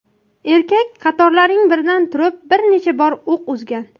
Erkak qatorlarning biridan turib bir necha bor o‘q uzgan.